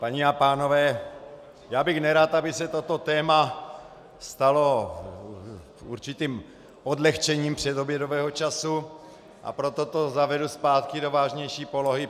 Paní a pánové, já bych nerad, aby se toto téma stalo určitým odlehčením předobědového času, a proto to zavedu zpátky do vážnější polohy.